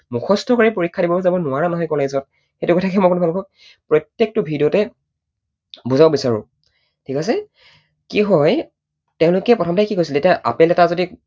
মুখস্থ কৰি পৰীক্ষা দিবলৈ যাব নোৱাৰা নহয় college ত এইটো কথাকে মই তোমালোকক প্ৰত্যেকটো video তে বুজাব বিচাৰো, ঠিক আছে? কি হয়, তেঁওলোকে প্ৰথমতে কি কৈছিলে এতিয়া আপেল এটা যদি